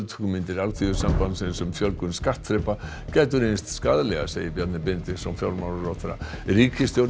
hugmyndir Alþýðusambandsins um fjölgun skattþrepa gætu reynst skaðlegar segir Bjarni Benediktsson fjármálaráðherra ríkisstjórnin